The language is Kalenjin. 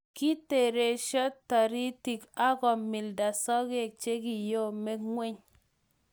Kitirirenso taritik akomilda sokek chekiyomyo ngweny